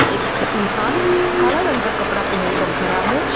एक इंसान काला रंग का कपड़ा पहन कर खड़ा है।